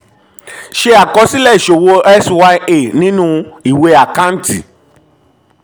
ṣe àkọsílẹ̀ ìṣowó x y a nínú ìwé àkántì